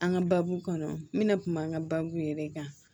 An ka baabu kɔnɔ n bɛna kuma n ka baabu yɛrɛ de kan